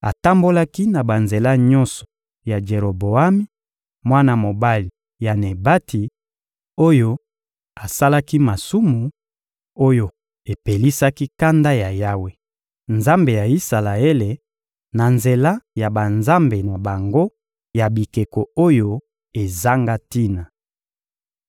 Atambolaki na banzela nyonso ya Jeroboami, mwana mobali ya Nebati, oyo asalaki masumu oyo epelisaki kanda ya Yawe, Nzambe ya Isalaele, na nzela ya banzambe na bango ya bikeko oyo ezanga tina.